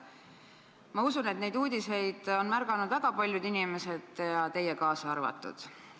Ma usun, et neid uudiseid on märganud väga paljud inimesed, teie kaasa arvatud.